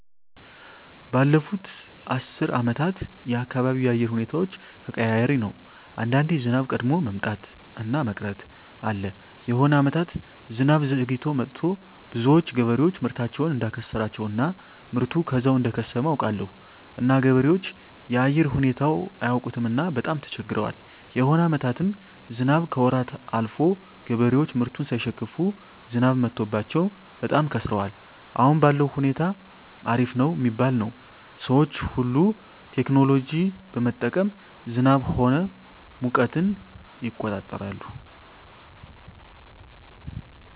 ባለፋት አስር አመታት የአካባቢው የአየር ሁኔታዎች ተቀያሪ ነው አንዳንዴ ዝናብ ቀድሞ መምጣት እና መቅረት አለ የሆነ አመታት ዝናብ ዘግይቶ መጥቱ ብዙዎች ገበሬዎች ምርታቸውን እዳከሰራቸው እና ምርቱ ከዛው እደከሰመ አውቃለሁ እና ገበሬዎች የአየር ሁኔታው አያውቅምና በጣም ተቸግረዋል የሆነ አመታትም ዝናብ ከወራት አልፎ ገበሬዎች ምርቱን ሳይሸክፋ ዝናብ መትቶባቸው በጣም ከስረዋል አሁን ባለዉ ሁኔታ አሪፍ ነው ሚባል ነው ሰዎች ሁሉ ቴክኖሎጂ በመጠቀም ዝናብ ሆነ ሙቀትን ይቆጠራል